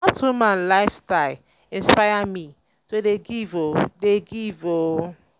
na dat woman life um style um inspire me um to dey give o. dey give o.